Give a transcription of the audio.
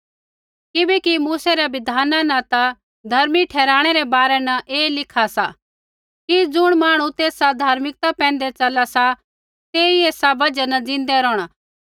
किबैकि मूसै रै बिधाना न धर्मी ठहराणै रै बारै न ऐ लिखा सा कि ज़ुण मांहणु तेसा धार्मिकता पैंधै चला सा तेई ऐसा बजहा न ज़िन्दै रोहणा